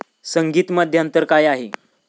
संगीत मध्यांतर काय आहे?